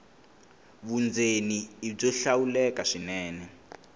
vundzeni i byo hlawuleka swinene